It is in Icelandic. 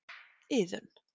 Iðunn